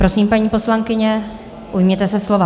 Prosím, paní poslankyně, ujměte se slova.